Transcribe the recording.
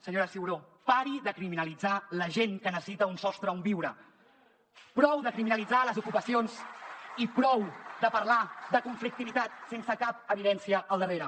senyora ciuró pari de criminalitzar la gent que necessita un sostre on viure prou de criminalitzar les ocupacions i prou de parlar de conflictivitat sense cap evidència al darrere